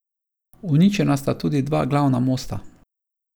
Uničena sta tudi dva glavna mosta.